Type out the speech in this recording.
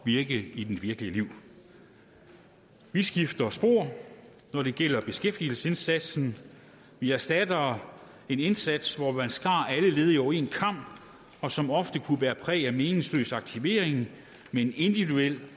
virke i det virkelige liv vi skifter spor når det gælder beskæftigelsesindsatsen vi erstatter en indsats hvor man skar alle ledige over én kam og som ofte kunne bære præg af meningsløs aktivering med en individuel